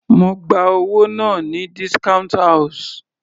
Mo gba owó náà ní discount house.